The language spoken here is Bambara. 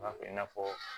N'a fɛ i n'a fɔ